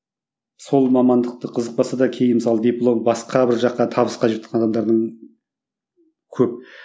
сол мамандықты қызықпаса да кейін мысалы диплом басқа бір жаққа табыс адамдардың көп